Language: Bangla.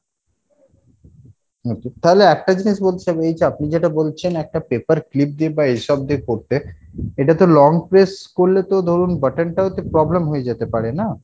okay তাহলে একটা জিনিস বলছিলাম এই যে আপনি যেটা বলছেন একটা paper clip দিয়ে বা এইসব দিয়ে করতে এটা তো long press করলে তো ধরুন button টাও তো problem হয়ে যেতে পারে না?